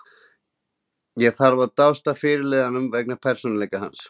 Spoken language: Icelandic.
Ég þarf að dást að fyrirliðanum vegna persónuleika hans.